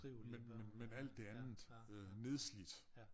Men men men alt det andet nedslidt